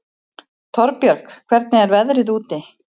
Torbjörg, hvernig er veðrið úti?